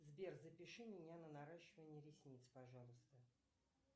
сбер запиши меня на наращивание ресниц пожалуйста